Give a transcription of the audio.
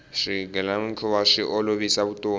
swigilamikhuva swi olovisa vutomi